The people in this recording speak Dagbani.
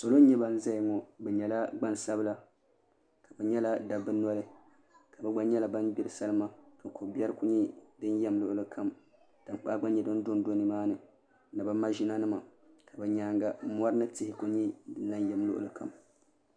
Salo n nyɛ ban ʒɛya ŋo bi nyɛla Gbansabila n nyɛla dabba noli bi gba nyɛla ban gbiri salima ko biɛri ku nyɛ din do luɣuli kam tankpaɣu gba nyɛ din dondo nimaani ni bi maʒina nima bi nyaanga mori ni tihi n yɛm luɣuli kam